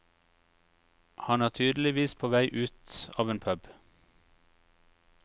Han er tydeligvis på vei ut av en pub.